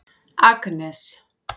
Agnes